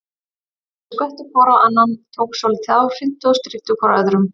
Þeir skvettu hvor á annan, tókust svolítið á, hrintu og stríddu hvor öðrum.